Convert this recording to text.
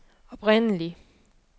oprindelig